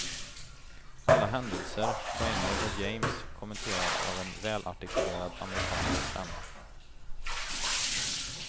Alla händelser, poänger och games kommenteras av en välartikulerad amerikansk stämma.